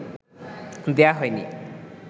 দেয়া হয় নি